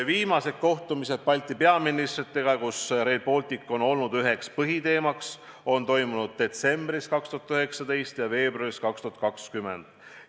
Viimased Balti peaministritega peetud kohtumised, kus Rail Baltic oli üheks põhiteemaks, toimusid detsembris 2019 ja veebruaris 2020.